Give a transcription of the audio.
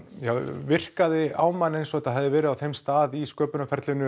virkaði á mann eins og þetta hefði verið á þeim stað í